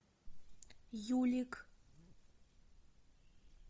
юлик